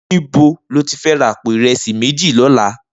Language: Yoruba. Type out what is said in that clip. Nibó ló ti fè rà àpó irẹsi méji lòlá?